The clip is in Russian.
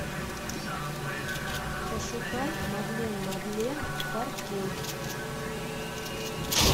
пошукай мадлен мадлен форкей